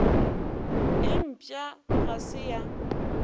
e mpšha ga se ya